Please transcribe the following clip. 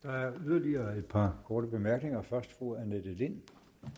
der er yderligere et par korte bemærkninger fra fru annette lind